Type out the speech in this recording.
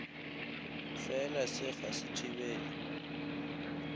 fela se ga se thibele